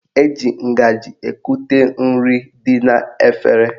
Eji ngaji ekute nri dị n'efere